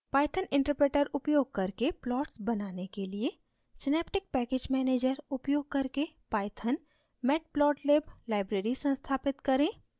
python interpreter उपयोग करके plots बनाने के लिए synaptic package manager उपयोग करके pythonmatplotlib लाइब्रेरी संस्थापित करें